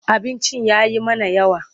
Abincin ya yi mana yawa.